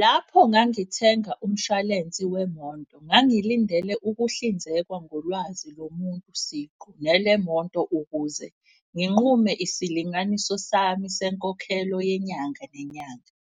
Lapho ngangithenga umshwalensi wemonto, ngangilindele ukuhlinzekwa ngolwazi lo muntu siqu. Nelemonto ukuze nginqume isilinganiso sami senkokhelo yenyanga nenyanga.